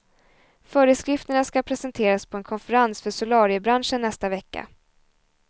Föreskrifterna ska presenteras på en konferens för solariebranschen nästa vecka.